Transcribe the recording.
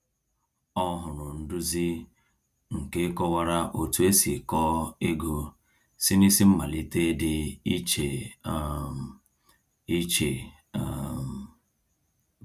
O hụrụ nduzi nke kọwara otu esi kọọ ego si n’isi mmalite dị iche um iche. um